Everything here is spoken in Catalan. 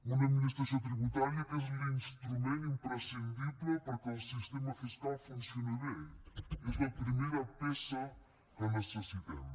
una administració tributària que és l’instrument imprescindible perquè el sistema fiscal funcioni bé és la primera peça que necessitem